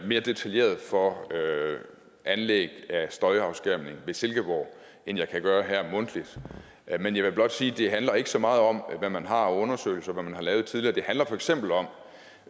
mere detaljeret for anlæg af støjafskærmning ved silkeborg end jeg kan gøre her mundtligt men jeg vil blot sige at det handler ikke så meget om hvad man har af undersøgelser og hvad man har lavet tidligere det handler for eksempel om